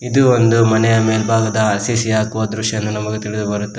ಇದು ಒಂದು ಮನೆಯ ಮೇಲ್ಭಾಗದ ಆರ್_ಸಿ_ಸಿ ಹಾಕುವ ದೃಶ್ಯ ಎಂದು ನಮಗೆ ತಿಳಿದು ಬರುತ್ತದೆ.